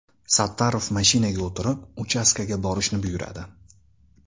Sattorov mashinaga o‘tirib, uchastkaga borishni buyuradi.